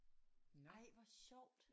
Ej hvor sjovt